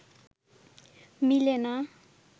মিলে না